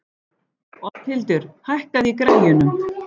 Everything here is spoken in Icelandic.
Oddhildur, hækkaðu í græjunum.